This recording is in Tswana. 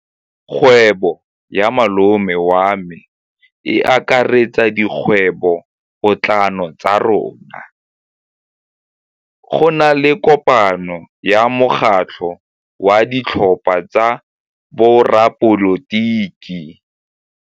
Kgwêbô ya malome wa me e akaretsa dikgwêbôpotlana tsa rona. Go na le kopanô ya mokgatlhô wa ditlhopha tsa boradipolotiki.